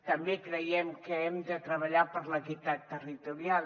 també creiem que hem de treballar per l’equitat territorial